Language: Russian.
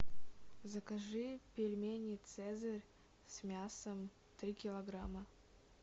закажи пельмени цезарь с мясом три килограмма